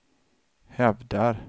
hävdar